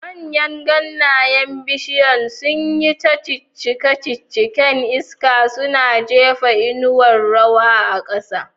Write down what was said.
Manyan ganyen bishiyar sun yi ta ciccika cikin iska, suna jefa inuwar rawa a ƙasa.